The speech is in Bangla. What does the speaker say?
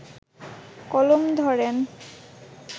কলম ধরেন